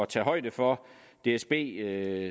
tage højde for dsb